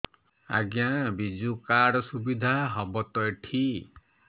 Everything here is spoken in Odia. ଆଜ୍ଞା ବିଜୁ କାର୍ଡ ସୁବିଧା ହବ ତ ଏଠି